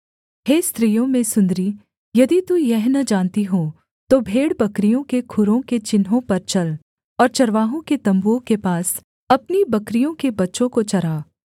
हे स्त्रियों में सुन्दरी यदि तू यह न जानती हो तो भेड़बकरियों के खुरों के चिन्हों पर चल और चरावाहों के तम्बुओं के पास अपनी बकरियों के बच्चों को चरा